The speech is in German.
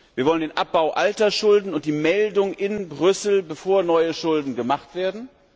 Wir wollen den Abbau alter Schulden und die Meldung in Brüssel, bevor neue Schulden gemacht werden.